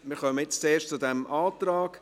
Wir kommen nun zuerst zu diesem Antrag.